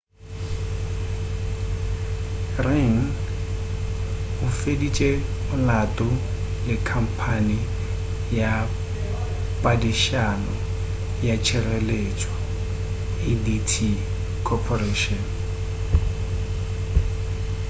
ring o feditše molato le khampane ya padišano ya tšhireletšo adt corporation